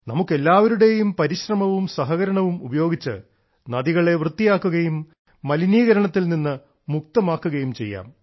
നമുക്ക് എല്ലാവരുടെയും പരിശ്രമവും സഹകരണവും ഉപയോഗിച്ച് നദികളെ വൃത്തിയാക്കുകയും മലിനീകരണത്തിൽ നിന്ന് മുക്തമാക്കുകയും ചെയ്യാം